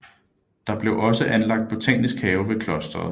Der blev også anlagt botanisk have ved klosteret